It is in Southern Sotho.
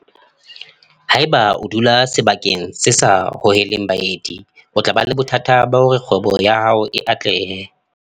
Haeba o dula sebakeng se sa hoheleng baeti o tla ba le bothata ba hore kgwebo ya hao e atlehe.